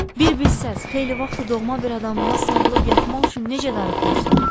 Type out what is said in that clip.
Bir bilsəz, xeyli vaxtdır doğma bir adamıma sarılıb yatmaq üçün necə darıxmışdım.